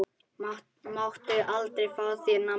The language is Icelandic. Máttu aldrei fá þér nammi?